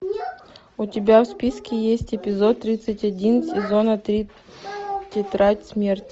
у тебя в списке есть эпизод тридцать один сезона три тетрадь смерти